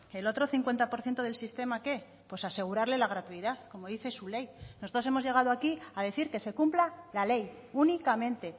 el otro cincuenta por ciento del sistema qué pues asegurarle la gratuidad como dice su ley nosotros hemos llegado aquí a decir que se cumpla la ley únicamente